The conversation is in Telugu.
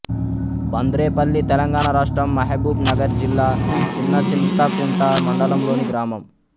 బంద్రేపల్లి తెలంగాణ రాష్ట్రం మహబూబ్ నగర్ జిల్లా చిన్నచింతకుంట మండలంలోని గ్రామం